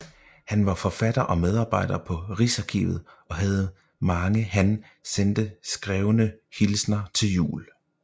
Han var forfatter og medarbejder på Rigsarkivet og havde mange han sendte skrevne hilsner til jul